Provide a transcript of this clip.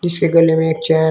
इसके गले में एक चैन --